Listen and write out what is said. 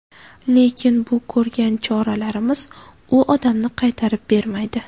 Lekin bu ko‘rgan choralarimiz u odamni qaytarib bermaydi.